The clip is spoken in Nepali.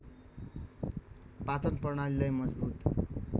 पाचन प्रणालीलाई मजबुत